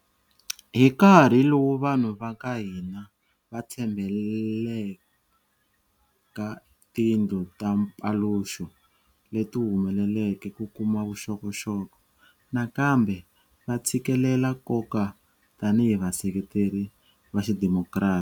Hi nkarhi lowu vanhu va ka hina va tshembhele eka tindlu ta mpaluxo leti humeleleke ku kuma vuxokoxoko, nakambe va tshikelela nkoka tanihi vaseketeri va xidimokirasi.